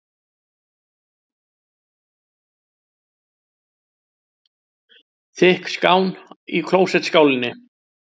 Þykk skán í klósettskálinni.